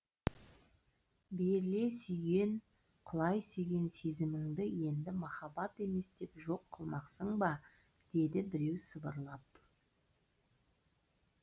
беріле сүйген құлай сүйген сезіміңді енді махаббат емес деп жоқ қылмақсың ба деді біреу сыбырлап